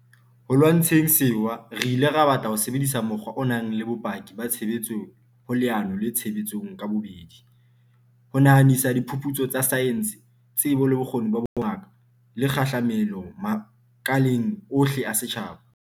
Ho lwantsheng sewa re ile ra batla ho sebedisa mokgwa o nang le bopaki ba tshebetso ho leano le tshebetsong ka bobedi, ho nahanisa diphuputso tsa saense, tsebo le bokgoni ba bongaka, le kgahlamelo makaleng ohle a setjhaba.